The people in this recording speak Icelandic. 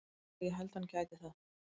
Já ég held að hann gæti það.